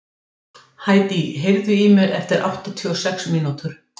Hædý, heyrðu í mér eftir áttatíu og sex mínútur.